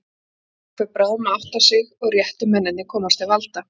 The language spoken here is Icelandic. Fólk fer bráðum að átta sig, og réttu mennirnir komast til valda.